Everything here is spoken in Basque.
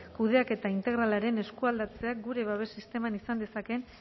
kudeaketa integralaren eskualdatzeak gure babes sisteman izan dezakeen